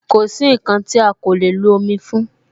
Kosi nkan ti a ko le lo omi fún